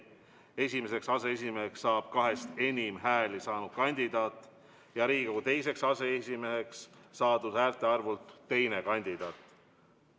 Esimeseks aseesimeheks saab enam hääli saanud kandidaat ja teiseks aseesimeheks saab saadud häälte arvult teine kandidaat.